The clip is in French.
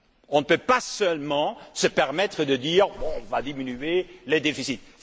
On ne peut pas seulement se permettre de dire que l'on va diminuer les déficits.